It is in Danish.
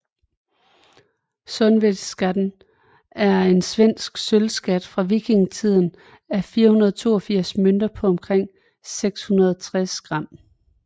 Sundvedaskatten er en svensk sølvskat fra vikingetiden af 482 mønter på omkring 660 gram